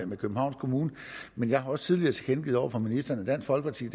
med københavns kommune jeg har også tidligere tilkendegivet over for ministeren at dansk folkeparti